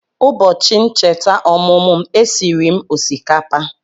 Ụbọchị ncheta ọmụmụ m, e siri m osikapa